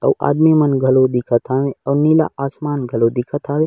अऊ आदमी मन घलो दिखत हन अऊ नीला आसमान घलो दिखत है।